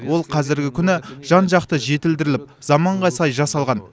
ол қазіргі күні жан жақты жетілдіріліп заманға сай жасалған